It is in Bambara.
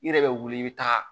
I yɛrɛ bɛ wuli i bɛ taa